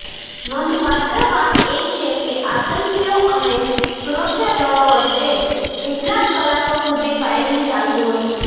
નોંધપાત્ર વાત એ છે કે આતંકીઓ અને સુરક્ષાદળો વચ્ચે કેટલાક કલાકો સુધી ફાયરિંગ ચાલતું હતું